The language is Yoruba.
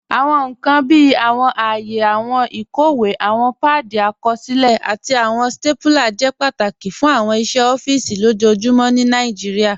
Awọn nkan bíi awọn àayè, awọn ikọwe, awọn paadi àkọsilẹ̀, àti awọn stapúlà jẹ́ pátákì fún awọn iṣẹ̀ ọ̀fíìsì lojoojumọ̀ ní Nàìjíríà.